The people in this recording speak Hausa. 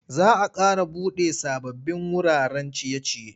Za a ƙara buɗe sababbin wuraren ciye-ciye.